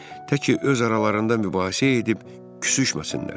Təki öz aralarında mübahisə edib küsüşməsinlər.